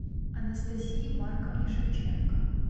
анастасии марковне шевченко